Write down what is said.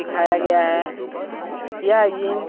दिखाया गया है यह जिम --